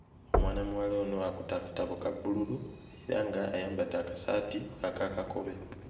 Mwana muwala ono akutte akatabo ka bbululu era nga ayambadde akasaati akakakobe.